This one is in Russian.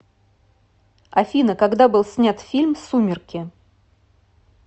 афина когда был снят фильм сумерки